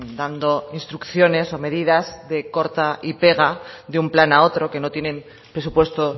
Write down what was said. dando instrucciones o medidas de corta y pega de un plan a otro que no tienen presupuesto